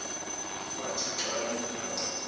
kwathi xa limkayo